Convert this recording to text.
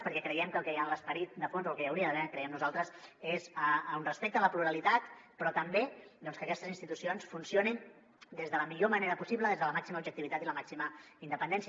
perquè creiem que el que hi ha en l’esperit de fons el que hi hauria d’haver creiem nosaltres és un respecte a la pluralitat però també doncs que aquestes institucions funcionin des de la millor manera possible des de la màxima objectivitat i la màxima independència